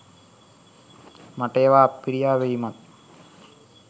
මට ඒවා අප්පිරියා වීමත්